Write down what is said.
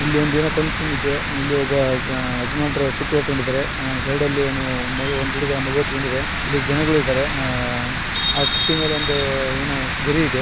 ಇಲ್ಲಿ ಒಂದು ಏನೋ ಫಂಕ್ಷನ್‌ ಇದೆ ಒಬ್ಬ ಯಜಮಾನ್ರೂ ಪುಟ್ಟಿ ಹೊತ್ತುಕೊಂಡಿದ್ದಾರೆ ಸೈಡ್ ಅಲ್ಲಿ ಒಂದು ಹುಡುಗ ಮಗು ಎತ್ತಿಕೊಂಡಿದೆ ಅಲ್ಲಿ ಜನಗಳು ಇದ್ದಾರೆ ಆ ಪುಟ್ಟಿ ಮೇಲೆ ಒಂದು ಏನೋ ಗರಿ ಇದೆ .